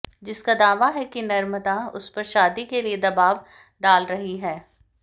जिसका दावा है कि नम्रता उसपर शादी के लिए दबाव डाल रही है